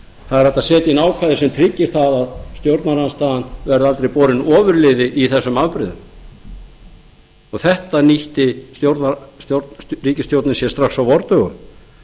það er hægt að setja inn ákvæði sem tryggir að stjórnarandstaðan verði aldrei borin ofurliði í þessum afbrigðum þetta nýtti ríkisstjórnin sér strax á vordögum